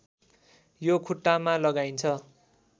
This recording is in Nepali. यो खुट्टामा लगाइन्छ